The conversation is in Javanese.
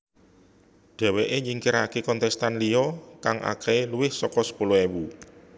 Dheweké nyingkiraké kontestan liya kang akehé luwih saka sepuluh ewu